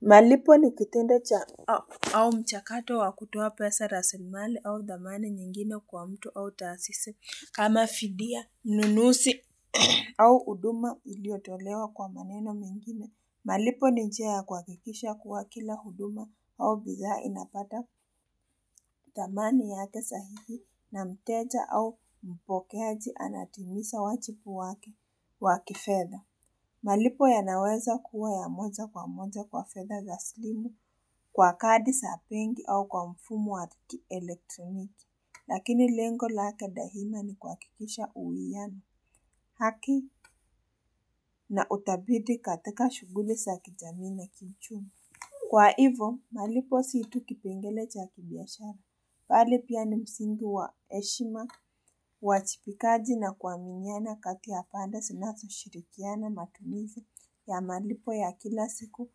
Malipo nikitendo cha au mchakato wa kutoa pesa rasimali au dhamani nyingine kwa mtu au taasisi kama fidia nunusi au huduma iliyotolewa kwa maneno mengine malipo ni njia ya kuha kikisha kuwa kila huduma au bidhaa inapata dhamani yake sahihi na mteja au mpokeaji anatimiza wajibu wake waki fedha malipo ya naweza kuwa ya moja kwa moja kwa fedha za slimu kwa kadi sa benki au kwa mfumo wa kielektroniki. Lakini lengo lake daima ni kuha kikisha uwiano haki na utabidi katika shughuli sa kijamii na kiuchumi. Kwa hivo, malipo siitu kipengele cha kibiashara. Bali pia ni msingi wa heshima, wajibikaji na kua miniana kati pande sinazo shirikiana matumizi ya malipo ya kila siku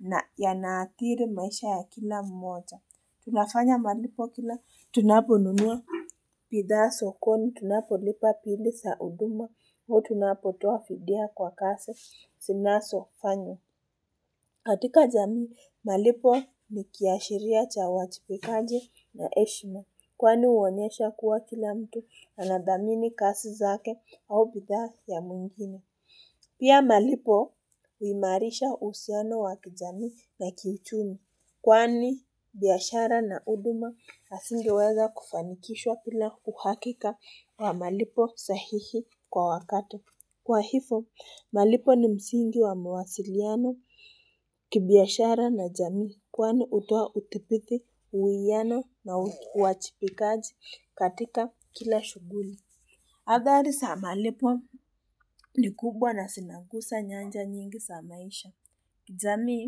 na yanaadhiri maisha ya kila mmoja. Tunafanya malipo kila tunaponunua bithaa sokoni, tunapolipa bili sa huduma, au tunapotoa fidia kwa kase sinaso fanywa. Katika jamii, malipo ni kiashiria cha wajibikaji na heshima kwani uonyesha kuwa kila mtu anadhamini kasi zake au bidhaa ya mwingine. Pia malipo uimarisha uhusiano wa kijamii na kiuchumi kwani biashara na huduma asingiweza kufanikishwa bila uhakika wa malipo sahihi kwa wakati. Kwa hivo, malipo ni msingi wa mawasiliano kibiashara na jamii kwani utoa utipithi uwiano na uwachipikaji katika kila shughuli. Athari sa malipo ni kubwa na zinagusa nyanja nyingi sa maisha. Jamii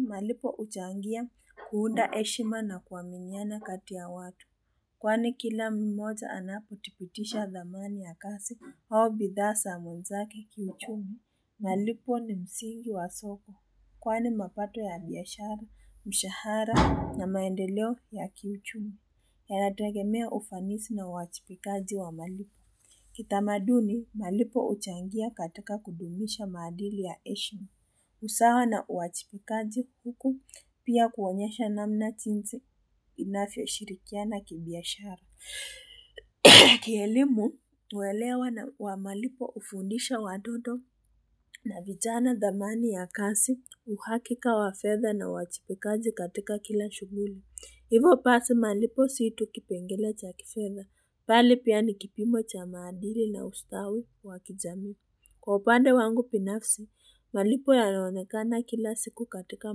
malipo huchangia kuunda heshima na kuaminiana kati ya watu kwani kila mmoja anapo tipitisha dhamani ya kasi au bidhaa sa mwenzake kiuchumi. Malipo ni msingi wa soko, kwa ni mapato ya biashari, mshahara na maendeleo ya kiuchumi. Yanategemea ufanisi na wajipikaji wa malipo. Kitamaduni, malipo uchangia katika kudumisha maadili ya heshma. Usawa na uwajibikaji huku pia kuonyesha namna tinti inavyo shirikiana ki biashara. Kielimu, uelewa na wa malipo ufundisha wadodo na vijana dhamani ya kasi, uhakika wa fedha na uwajibikaji katika kila shughuli. Hivo pasi malipo si itu kipengele cha kifedha, bali pia nikipimo cha maadili na ustawi wakijamii. Kwa upande wangu pinafsi, malipo yanaonekana kila siku katika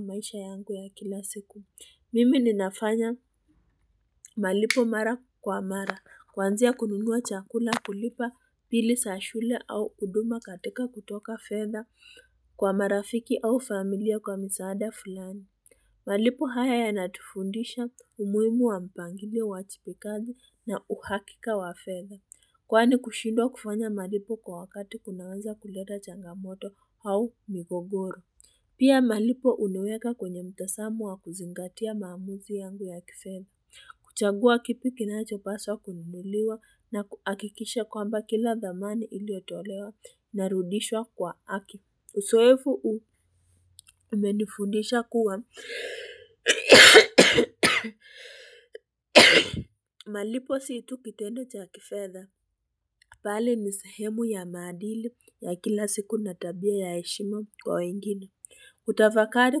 maisha yangu ya kila siku. Mimi ninafanya malipo mara kwa mara, kuanzia kununua chakula kulipa pili sa shule au huduma katika kutoka fedha kwa marafiki au familia kwa misaada fulani. Malipo haya ya natufundisha umuhimu wa mpangilio uwajipikaji na uhakika wa fedha. Kwani kushindwa kufanya malipo kwa wakati kunaweza kuleta changamoto au migogoro. Pia malipo uniweka kwenye mtasamu wa kuzingatia maamuzi yangu ya kifedha, kuchagua kipi kinachopaswa kununuliwa na kuhakikisha kwamba kila dhamani iliyotolewa ina rudishwa kwa haki. Usoevu huu umenifundisha kuwa malipo si tu kitendo cha kifedha, pale nisehemu ya maadili ya kila siku na tabia ya heshima kwa wengine. Kutafakari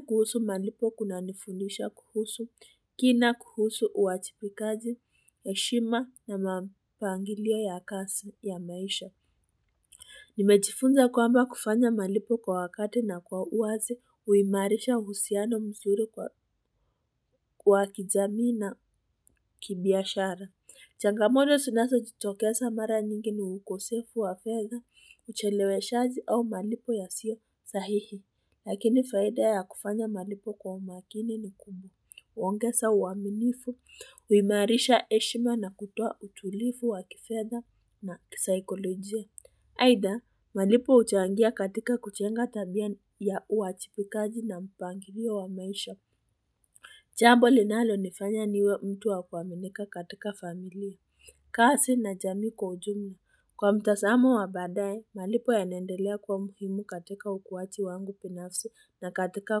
kuhusu malipo kuna nifundisha kuhusu kina kuhusu uwajipikaji heshima na mapangilio ya kasi ya maisha Nimejifunza kwamba kufanya malipo kwa wakati na kwa uwazi uhimarisha uhusiano msuri kwa wa kijamii na kibiashara Changamodo sinaso jitokeza mara nyingi ni ukosefu wa fedha ucheleweshaji au malipo ya siyo sahihi. Lakini faida ya kufanya malipo kwa umakini ni kumu. Ongesa uaminifu, uimarisha heshima na kutoa utulivu wa kifedha na kisaikolojia. Haidha, malipo uchangia katika kujenga tabia ya uwachipikaji na mpangilio wa maisha. Jambu linalo nifanya niwe mtu wa kuaminika katika familia. Kasi na jamii kwa ujumla kwa mtasamo wa baadaye malipo yanaendelea kwa muhimu katika ukuwaji wangu binafsi na katika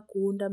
kuunda.